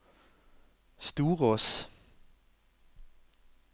Storås